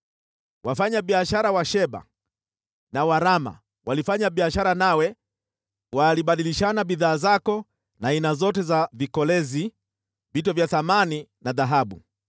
“ ‘Wafanyabiashara wa Sheba na wa Raama walifanya biashara nawe, wakabadilishana bidhaa zako na aina zote za vikolezi, vito vya thamani na dhahabu.